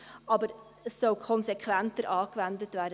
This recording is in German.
Aber sie sollen konsequenter angewendet werden.